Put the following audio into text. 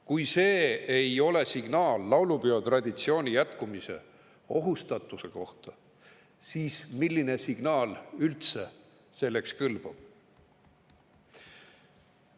Kui see ei ole signaal laulupeotraditsiooni jätkumise ohustatuse kohta, siis milline signaal üldse selleks kõlbab?